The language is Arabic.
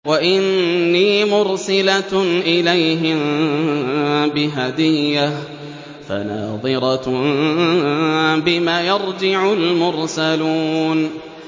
وَإِنِّي مُرْسِلَةٌ إِلَيْهِم بِهَدِيَّةٍ فَنَاظِرَةٌ بِمَ يَرْجِعُ الْمُرْسَلُونَ